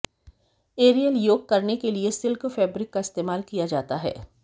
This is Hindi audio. एरियल योग करने के लिए सिल्क फैब्रिक का इस्तेमाल किया जाता है